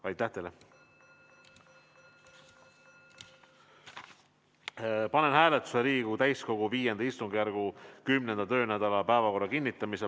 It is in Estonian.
Austatud Riigikogu, panen hääletusele Riigikogu täiskogu V istungjärgu 10. töönädala päevakorra kinnitamise.